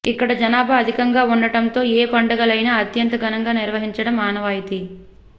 ఇక్కడ జనాభా అధికంగా ఉండటంతో ఏ పండుగలైనా అత్యంత ఘనంగా నిర్వహించడం ఆనవాయితీ